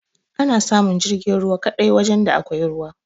Ana samun jirgin ruwa kaɗai wajan da akwai ruwa